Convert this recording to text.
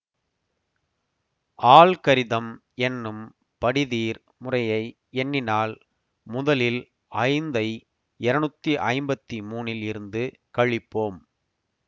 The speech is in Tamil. ஆல்கரிதம் என்னும் படிதீர் முறையாக எண்ணினால் முதலில் ஐந்தை இருநூத்தி ஐம்பத்தி மூனில் இருந்து கழிப்போம்